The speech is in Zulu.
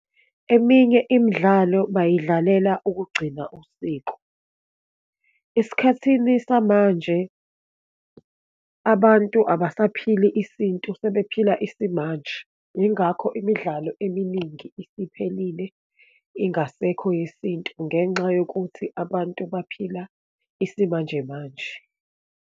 Eminye imidlalo bayidlalela ukugcina usiko. Esikhathini samanje abantu abasaphili isintu, sebephila isimanje, yingakho imidlalo eminingi isiphelile, ingasekho yesintu ngenxa yokuthi abantu baphila isimanjemanje.